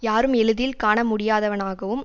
யாரும் எளிதில் காண முடியாதவனாகவும்